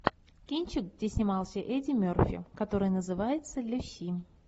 кинчик где снимался эдди мерфи который называется люси